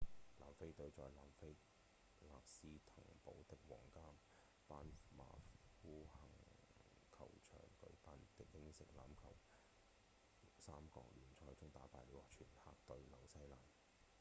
南非隊在南非勒斯滕堡的皇家班巴夫肯球場舉辦的英式橄欖球三國聯賽中打敗了全黑隊紐西蘭